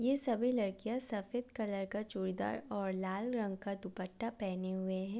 ये सभी लड़कियाँ सफेद कलर का चूड़ीदार और लाल रंग का दुपट्टा पहने हुए है।